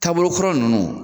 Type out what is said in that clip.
Taabolo kɔrɔ nunnu.